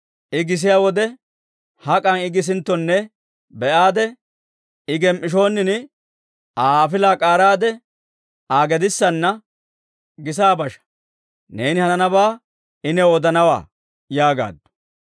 I gisiyaa wode, hak'an I gisinttone be'aade, I gem"ishoonin Aa afilaa k'aaraade, Aa gedissanna gisa basha. Neeni hananabaa I new odanawaa» yaagaaddu.